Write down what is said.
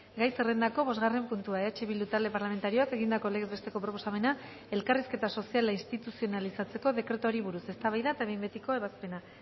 gai zerrendako bosgarren puntua eh bildu talde parlamentarioak egindako legez besteko proposamena elkarrizketa soziala instituzionalizatzeko dekretuari buruz eztabaida eta behin betiko ebazpena